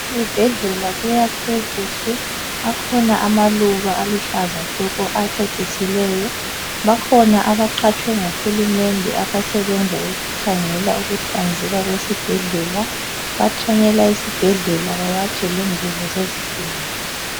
Ezibhedlela kuyakhwe kuhle akhona amaluba aluhlaza tshoko acecisileyo bakhona abaqhatshwe nguhulumende abasebenza ukukhangela ukuhlanzeka kwesibhedlela bathanyela esibhedlela bawatshe lengubo zezigulani.